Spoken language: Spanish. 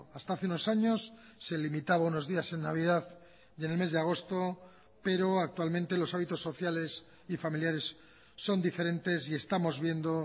hasta hace unos años se limitaba unos días en navidad y en el mes de agosto pero actualmente los hábitos sociales y familiares son diferentes y estamos viendo